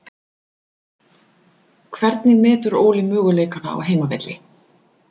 Hvernig metur Óli möguleikana á heimavelli?